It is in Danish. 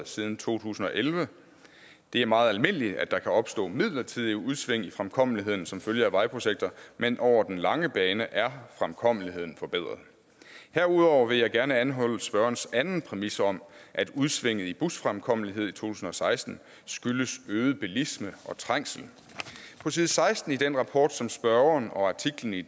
siden to tusind og elleve det er meget almindeligt at der kan opstå midlertidige udsving i fremkommeligheden som følge af vejprojekter men over den lange bane er fremkommeligheden forbedret herudover vil jeg gerne anholde spørgerens anden præmis om at udsvinget i busfremkommelighed i to tusind og seksten skyldes øget bilisme og trængsel på side seksten i den rapport som spørgeren og artiklen i